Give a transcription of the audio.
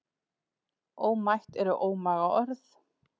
Ómætt eru ómaga orð.